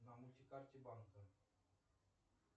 на мульти карте банка